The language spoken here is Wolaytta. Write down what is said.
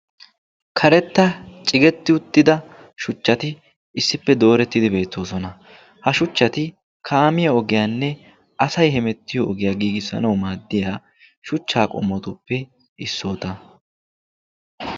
karetta cigetti utida shuchati beetoosona. ha shuchati kaamiya ogiya giigisanawu go'ettiyobatuppe issuwa.